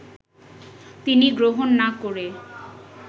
তিনি গ্রহণ না করে